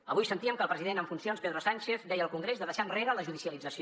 avui sentíem que el president en funcions pedro sánchez deia al congrés de deixar enrere la judicialització